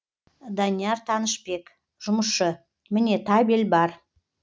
данияр танышбек жұмысшы міне табель бар